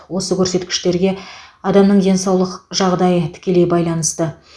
осы көрсеткіштерге адамның денсаулық жағдайы тікелей байланысты